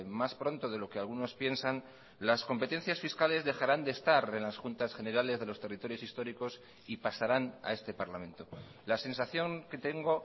más pronto de lo que algunos piensan las competencias fiscales dejarán de estar en las juntas generales de los territorios históricos y pasarán a este parlamento la sensación que tengo